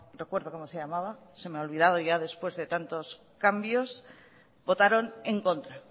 recuerdo como se llamaba se me ha olvidado ya después de tantos cambios votaron en contra